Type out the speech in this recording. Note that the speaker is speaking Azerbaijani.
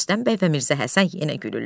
Rüstəm bəy və Mirzə Həsən yenə gülürlər.